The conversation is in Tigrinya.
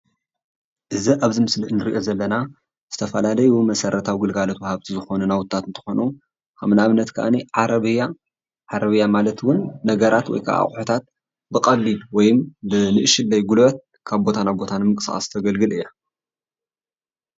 እዚ ኣብዚ ምስሊ እንሪኦ ዘለና ዝተፈላለዩ መሰረታዊ ግልጋሎት ወሃብቲ ዝኾኑ ናዉትታት እንትኾኑ ከም ንኣብነት ክዓኒ ዓረብያ ዓረብያ ማለት እዉን ነገራት ወይ ከዓ ኣቑሑታት ብቐሊሉ ወይም ብንእሽትለይ ጉልበት ካብ ቦታ ናብ ቦታ ንምንቅስቓስ ተገልግል እያ።